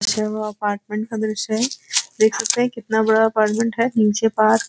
जो अपार्टमेंट का दृश्य है। देख सकते हैं कितना बड़ा अपार्टमेंट है। नीचे पार्क --